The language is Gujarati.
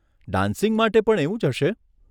ડાન્સિંગ માટે પણ એવું જ હશે?